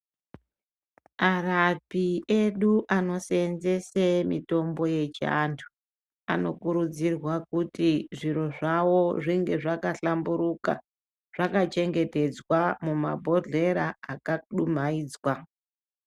Arapi edu ano senzese mitombo yechi antu anokurudzirwa kuti zviro zvawo zvinge zvaka hlamburuka zvaka chengetedzwa mu mabhohlera aka dumhaidzwa.